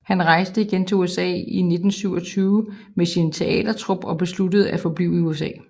Han rejste igen til USA i 1927 med sin teatertrup og besluttede at forblive i USA